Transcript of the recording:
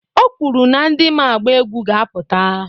O kwuru na ndị ma agba egwu ga-apụta.